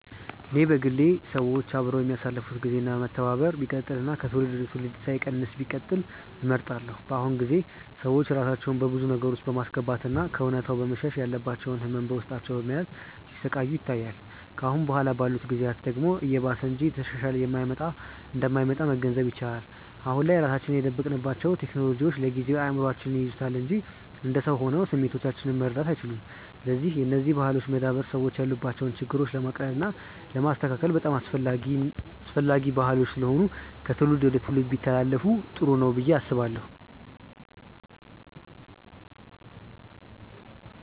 እኔ በግሌ ሰዎች አብረው የሚያሳልፋት ግዜ እና መተባበራቸው ቢቀጥል እና ከትውልድ ወደ ትውልድ ሳይቀንስ ቢቀጥል እመርጣለሁ። በአሁኑ ጊዜ ሰዎች ራሳቸውን በብዙ ነገር ውስጥ በማስገባት እና ከእውነታው በመሸሽ ያለባቸውን ህመም በውስጣቸው በመያዝ ሲሰቃዩ ይታያል። ከአሁን በኋላ ባሉት ጊዜያት ደግሞ እየባሰ እንጂ እየተሻሻለ እንደማይመጣ መገንዘብ ይቻላል። አሁን ላይ ራሳችንን የደበቅንባቸው ቴክኖሎጂዎች ለጊዜው እይምሮአችንን ይይዙታል እንጂ እንደ ሰው ሆነው ስሜቶቻችንን መረዳት አይችሉም። ስለዚህ የነዚህ ባህሎች መዳበር ሰዎች ያሉባቸውን ችግሮች ለማቅለል እና ለማስተካከል በጣም አስፈላጊ ባህሎች ስለሆኑ ከትውልድ ትውልድ ቢተላለፋ ጥሩ ነው ብዬ አስባለሁ።